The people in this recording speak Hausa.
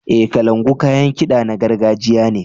E, kalangu kayan kiɗa na gargajiya ne.